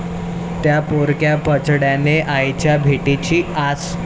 त्या' पोरक्या बछड्यांना आईच्या भेटीची आस